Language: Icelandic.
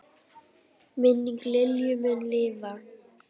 Minning Lilju mun lifa.